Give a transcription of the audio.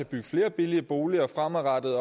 bygge flere billige boliger fremadrettet